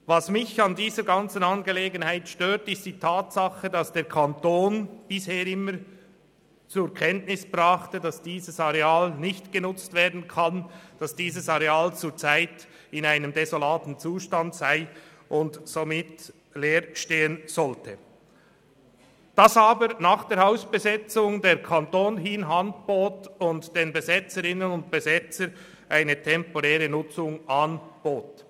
Was mich an dieser Angelegenheit stört, ist die Tatsache, dass der Kanton bisher immer zur Kenntnis brachte, dass dieses Areal nicht genutzt werden könne, zurzeit in einem desolaten Zustand sei und somit leer stehen sollte, den Besetzenden aber nach der Hausbesetzung eine temporäre Nutzung anbot.